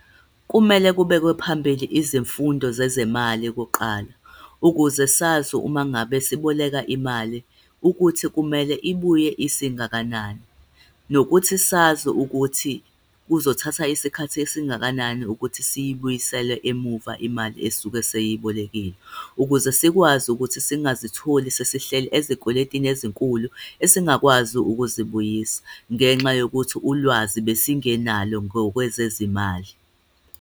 Kumele kubekwe phambili izifundo zezemali kuqala, ukuze sazi uma ngabe siboleka imali ukuthi kumele ibuye isingakanani, nokuthi sazi ukuthi kuzothatha isikhathi esingakanani ukuthi siyibuyisele emuva imali esisuke siyibolekile, ukuze sikwazi ukuthi singazitholi sesihleli ezikweletini ezinkulu esingakwazi ukuzibuyisela, ngenxa yokuthi ulwazi besingenalo ngokwekwezezimali.